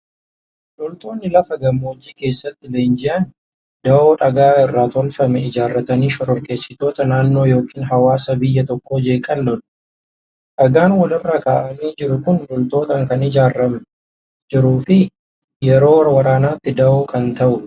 Loltoonni lafa gammoojjii keessatti leenji'an, dawoo dhagaa irraa tolfame ijaarratanii shororkeessitoota naannoo yookiin hawaasa biyya tokkoo jeeqan lolu. Dhagaan walirra kaa'amee jiru kun loltootaan kan ijaaramee jiruu fi yeroo waraanaatti dahoo kan ta'udha.